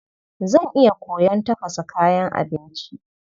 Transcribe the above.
Zan iya koyon tafasa kayan abinci.